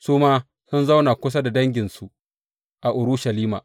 Su ma sun zauna kusa da danginsu a Urushalima.